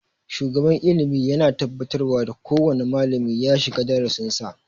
Shugaban ilimi yana tabbatarwa da kowane malami ya shiga darasin sa